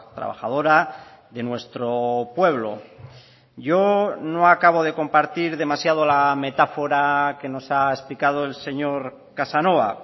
trabajadora de nuestro pueblo yo no acabo de compartir demasiado la metáfora que nos ha explicado el señor casanova